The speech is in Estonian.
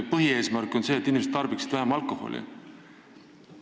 Põhieesmärk on see, et inimesed alkoholi vähem tarbiksid.